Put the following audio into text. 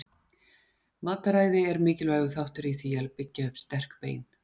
Mataræði er mikilvægur þáttur í því að byggja upp sterk bein.